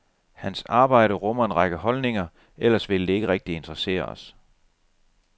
Hans arbejde rummer en række holdninger, ellers ville det ikke rigtig interessere os.